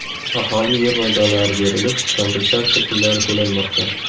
Aholiga yer maydonlari berilib, kompensatsiya pullari to‘lanmoqda.